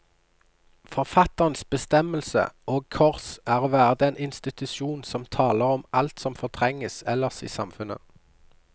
Forfatterens bestemmelse, og kors, er å være den institusjon som taler om alt som fortrenges ellers i samfunnet.